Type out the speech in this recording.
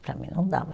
Para mim não dava.